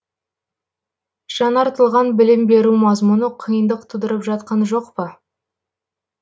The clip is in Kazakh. жаңартылған білім беру мазмұны қиындық тудырып жатқан жоқ па